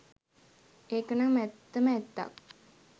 ඒක නම් ඇත්තම ඇත්තක්